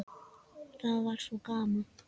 Það var svo gaman.